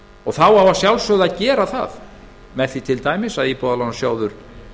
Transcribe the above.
og þá á að sjálfsögðu að gera það með því til dæmis að íbúðalánasjóður